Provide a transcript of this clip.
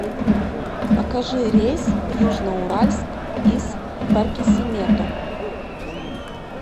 покажи рейс в южноуральск из баркисимето